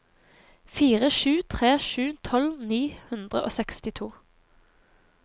fire sju tre sju tolv ni hundre og sekstito